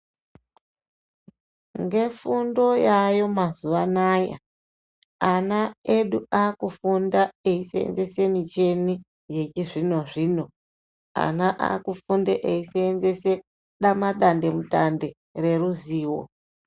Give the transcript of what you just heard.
Ngefundo yaayo mazuvana ayaa ana edu akufunda eisenzese micheni yechizvino zvino ana akufunde eisenzese datemutande reruzivo .